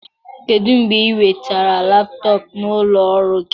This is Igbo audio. Kedu mgbe ị nwetara laptọọpụ n'ụlọ ọrụ gị?